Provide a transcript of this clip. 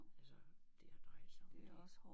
Altså det har drejet sig om det